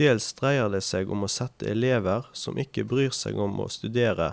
Dels dreier det seg om å sette elever som ikke bryr seg om å studere,